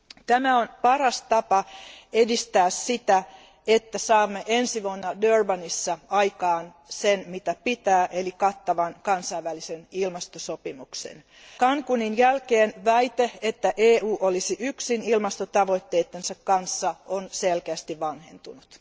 Tämä on paras tapa edistää sitä, että saamme ensi vuonna Durbanissa aikaan sen, mitä pitää, eli kattavan kansainvälisen ilmastosopimuksen. Cancúnin jälkeen väite, että EU olisi yksin ilmastotavoitteittensa kanssa, on selkeästi vanhentunut.